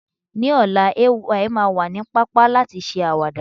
ní ọlá, Ay ma wa ni papa lati ṣe awada